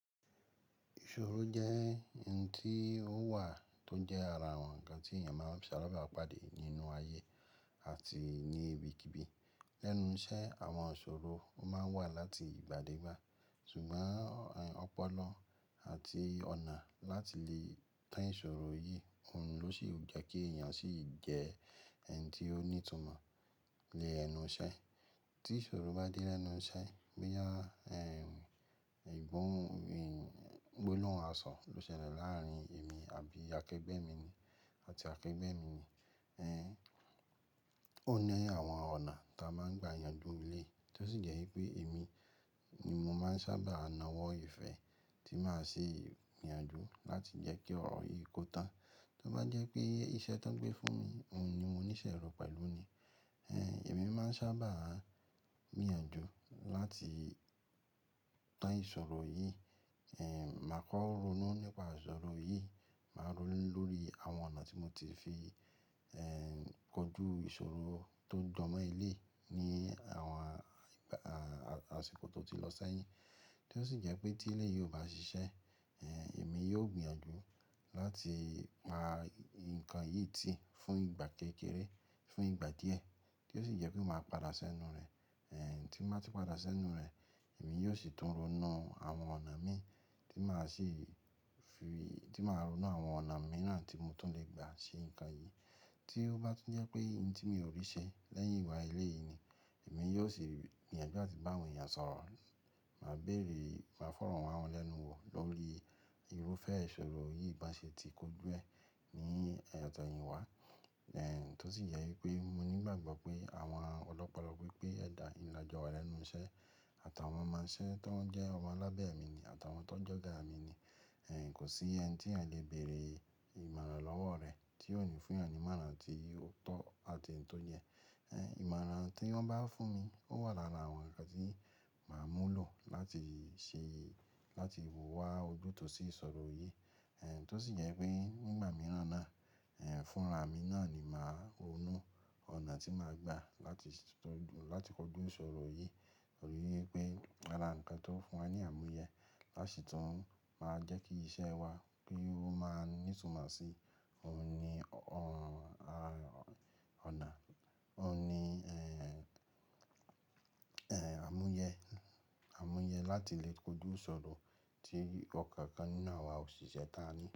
Ìṣòro jẹ́ ohun tí ó wà tó jẹ́ ara àwọn ǹkan tí èèyàn máa ń ṣàlábàápàdé nínú ayé àti ní ibikíbi. Lẹ́nu iṣẹ́ àwọn ìṣòro máa ń wà láti ìgbà dé ìgbà, ṣùgbọ́n ọpọlọ àti ọ̀nà láti lè tán ìṣòro yìí, òun ló sì jẹ́ kí èèyàn sì jẹ́ ẹni tí ó ní ìtumọ̀ lé ẹnu iṣẹ́. Tí ìṣòro bá dé lẹ́nu iṣẹ́, bo yá ẹ̀, egbọn, gbólohun aṣọ ló ṣẹlẹ̀ láàrín èmi àbí akẹ́gbẹ́ mi àti akẹ́gbẹ́ mi. Ẹ̀, ó ní àwọn ọ̀nà ta máa ń gba ìyanjú lé, tí ó sì jẹ́ pé èmi ni mo máa ń sábà náwó ìfẹ́ tí máa ṣe ìyanjú láti jẹ́ kí ọ̀rọ̀ yìí kó tán. Tí ó bá jẹ́ pé iṣẹ́ tó ń gbé fún mi, òun ni mo ní ṣorò pẹ̀lú ni. Ẹ̀, èmi máa ń sábà gbìyanjú láti tán ìṣòro yìí. Ẹ̀, màá kọ́ ronú nípa ìṣòro yìí, màá ronú lórí àwọn ọ̀nà tí mo ti fi, ẹ́, kọjú ìṣòro tó ń jọmọ́ ilé ní àwọn a, àṣìkò tó ti lọ sẹ́yìn. Tí ó sì jẹ́ pé tí eléyìí ò bá ṣiṣẹ́, ẹ́, èmi yóò gbìyànjú láti pa nǹkan yìí tì fún ìgbà kékeré, fún ìgbà díẹ̀, tí ó sì jẹ́ pé màá padà sẹ́nu rẹ̀. Ẹ̀, tí n bá ti padà sẹ́nu rẹ̀, èmi yóò sì tún ronú àwọn ọ̀nà mi tí màá sì fi-- tí màá ronú àwọn ọ̀nà mi náà tí mo tún lè gbà ṣe nǹkan yìí. Tí ó bá tún jẹ́ pé n tí mi o rí ṣẹ lẹ́yìn ìgbà yen eléyìí ni, èmi yóò sì gbìyànjú áti bá àwọn èèyàn sọ̀rọ̀. Màá bèrè, màá fọ̀rọ̀ wá wọn lẹ́nu wò lórí irúfẹ́ ìṣòro yìí bá ṣe ti kójú ẹ ní e ọ̀tọ̀yin wà. Ẹ̀, tó sì yẹ i pé mo ní igbàgbọ́ pé àwọn ọlọ́pọlọ pípé ẹ̀dà ì làjọ wà lẹ́nu iṣẹ́ àtàwọn ọmọ iṣẹ́ tó ń jẹ́ ọmọ alábẹ̀ mi ni àtàwọn tó ń jọ́ga mi ni. Ẹ̀, kò sí ẹni tí ẹ lè bèrè ìmọ̀ràn lọ́wọ́ rẹ̀ tí ó ní fún yan ní ìmọ̀ràn tí ó tọ àti n tó yẹ. Ẹ̀n, ìmọ̀ràn tí wọ́n bá fún mi, ó wà lára àwọn ǹnkan tí màá mú lò láti ṣe, láti wò wá ojútùú sí ìṣòro yìí. Ẹ̀n, tó sì yẹ pé ngbà mìíràn náà, ẹ̀, fúnra mi náà ni màá ronú ọ̀nà tí màá gbà láti tọjú, láti kọjú ìṣòro yìí. Tori ípé ara nǹkan tó ń fún wa ní àmúyẹ á sì tun má jẹ́ kí iṣẹ́ wa bí ó máa ń ní ìtumọ̀ sí, òhun ni o--, ọ̀nà, òhun ni, ẹ́, àmúyẹ, àmúyẹ láti lè kọjú ìṣòro tí ọ̀kọ̀ọ̀kan nínú àwa òṣìṣẹ́ ta ní.